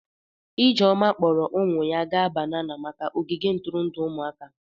Ijeoma kpọọrọ ụmụ ya gaa banana maka ogige ntụrụndụ ụmụaka.